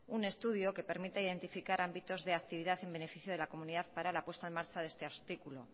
un estudio que permita identificar ámbitos de actividad en beneficio de la comunidad para la puesta en marcha de este artículo